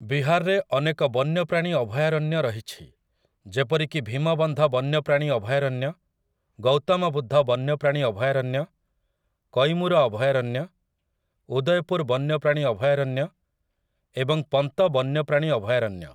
ବିହାରରେ ଅନେକ ବନ୍ୟପ୍ରାଣୀ ଅଭୟାରଣ୍ୟ ରହିଛି ଯେପରିକି ଭୀମବନ୍ଧ ବନ୍ୟପ୍ରାଣୀ ଅଭୟାରଣ୍ୟ, ଗୌତମ ବୁଦ୍ଧ ବନ୍ୟପ୍ରାଣୀ ଅଭୟାରଣ୍ୟ, କୈମୁର ଅଭୟାରଣ୍ୟ, ଉଦୟପୁର ବନ୍ୟପ୍ରାଣୀ ଅଭୟାରଣ୍ୟ ଏବଂ ପନ୍ତ ବନ୍ୟପ୍ରାଣୀ ଅଭୟାରଣ୍ୟ ।